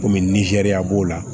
Komi ni zeriya b'o la